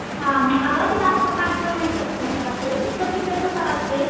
अगं मी जास्त पातळ नाही करत असं सुक्क चिकन कसं असतंय